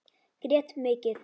Grét mikið.